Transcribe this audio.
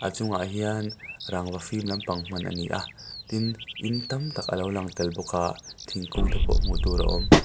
chungah hian rangva fim lampang hman a ni a tin in tamtak a lo lang tel bawk a thingkung te pawh hmu tur a awm.